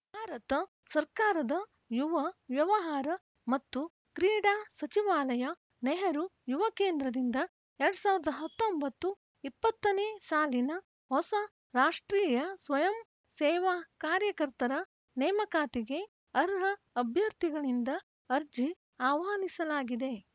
ಭಾರತ ಸರ್ಕಾರದ ಯುವ ವ್ಯವಹಾರ ಮತ್ತು ಕ್ರೀಡಾ ಸಚಿವಾಲಯ ನೆಹರು ಯುವಕೇಂದ್ರದಿಂದ ಎರಡ್ ಸಾವಿರದ ಹತ್ತೊಂಬತ್ತು ಇಪ್ಪತ್ತನೇ ಸಾಲಿನ ಹೊಸ ರಾಷ್ಟ್ರೀಯ ಸ್ವಯಂ ಸೇವಾ ಕಾರ್ಯಕರ್ತರ ನೇಮಕಾತಿಗೆ ಅರ್ಹ ಅಭ್ಯರ್ಥಿಗಳಿಂದ ಅರ್ಜಿ ಆಹ್ವಾನಿಸಲಾಗಿದೆ